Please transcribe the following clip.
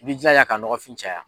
I b'i jilaja k'a nɔgɔfin caya.